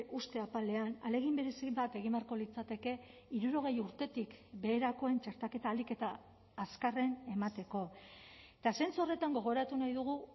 uste apalean ahalegin berezi bat egin beharko litzateke hirurogei urtetik beherakoen txertaketa ahalik eta azkarren emateko eta zentzu horretan gogoratu nahi dugu